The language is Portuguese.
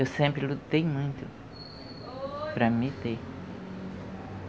Eu sempre lutei muito para me ter.